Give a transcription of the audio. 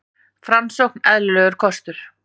Framsókn eðlilegur kostur